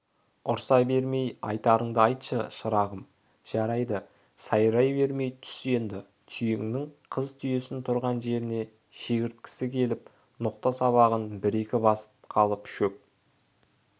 ұрса бермей айтарыңды айтшы шырағым жарайды сайрай бермей түс енді түйеңнен қыз түйесін тұрған жеріне шектіргісі келіп ноқта сабағын бір-екі басып қалып шөк